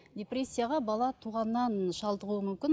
депрессияға бала туғаннан шалдығуы мүмкін